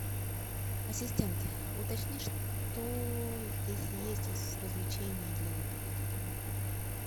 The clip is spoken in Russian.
ассистент уточни что здесь есть из развлечений для отдыха с детьми